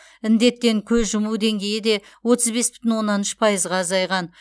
індеттен көз жұму деңгейі де отыз бес бүтін оннан үш пайызға азайған